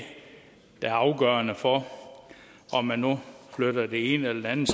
der er afgørende for om man nu flytter det ene eller andet